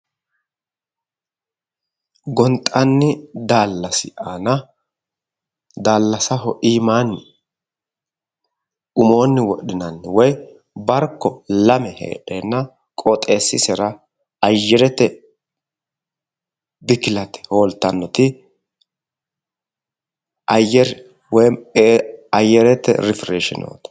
Gonxanni daallasi aana daallasaho iimaanni woy umoonni wodhinanniti barko lame heedheenna qooxxeessisera ayyere bikilete hooltannoti ayyerete rifreshineeti